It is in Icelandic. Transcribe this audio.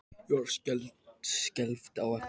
Ég horfi skelfd á eftir honum.